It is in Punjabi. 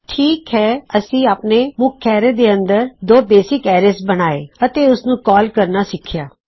ਠੀਕ ਹੈ ਅਸੀਂ ਆਪਣੇ ਮੁੱਖ ਐਰੇ ਦੇ ਅੰਦਰ ਦੋ ਬੇਸਿਕ ਐਰੇਜ਼ ਬਣਾਏ ਅਤੇ ਉਸਨੂੰ ਕਾਲ ਕਰਨਾ ਸਿਖਿਆ